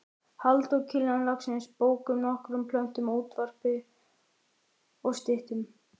Halldór Kiljan Laxness bókum, nokkrum plöntum, útvarpi og styttum.